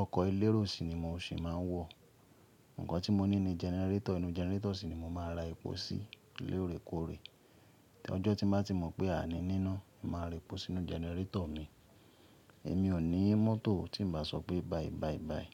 Ọkọ̀ elérò si ni mo sì máa ń wọ̀. Ǹkan tí mo ní ni generator, inú generator si ni mo máa ra epo sí lorekoore. Tí ọjọ́ tí má tí mò pé àní níná, màá ra epo sínú generator mi. Èmi ò ní mọ́tò tí n bá sọ pé bye bye bye.